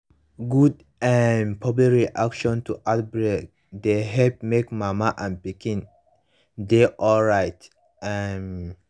good um public reaction to outbreak dey help make mama and pikin dey alright um